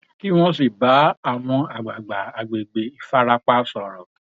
kí wọn sì bá àwọn àgbààgbà àgbègbè ìfarapa sọrọ